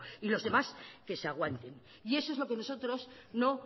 y los demás que se aguanten y eso es lo que nosotros no